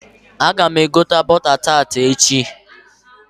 Aga m egota bọta taati echi.